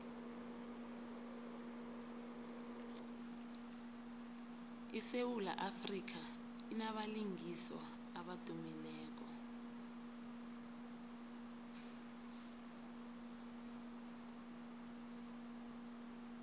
isewula afrika inabalingiswa abadumileko